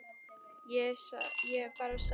Ég bara sá.